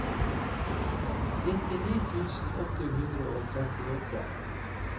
nittini tusen åtte hundre og trettiåtte